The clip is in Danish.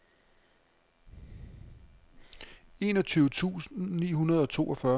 enogtyve tusind ni hundrede og toogfyrre